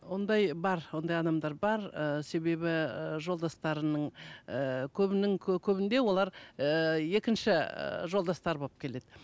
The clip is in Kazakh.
ондай бар ондай адамдар бар ыыы себебі ы жолдастарының ыыы көбінің көбінде олар ыыы екінші ы жолдастары болып келеді